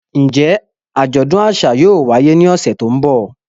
Njẹ ajọdun aṣa yóò waye ni ọsẹ to nbọ?